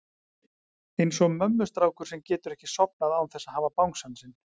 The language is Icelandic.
Eins og mömmustrákur sem getur ekki sofnað án þess að hafa bangsann sinn.